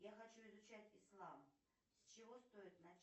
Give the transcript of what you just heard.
я хочу изучать ислам с чего стоит начать